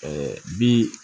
bi